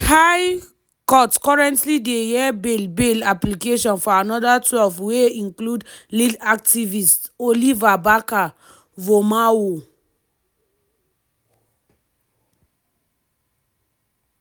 di high court currently dey hear bail bail application for anoda twelve wey include lead activist oliver barker-vormawor.